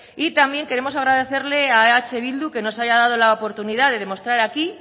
y también queremos agradecerle a eh bildu que nos haya dado la oportunidad de demostrar aquí